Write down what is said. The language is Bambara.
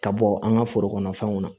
Ka bɔ an ka foro kɔnɔ fɛnw na